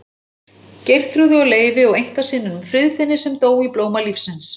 Geirþrúði og Leifi og einkasyninum Friðfinni sem dó í blóma lífsins.